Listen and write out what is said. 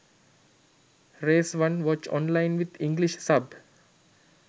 race 1 watch online with english sub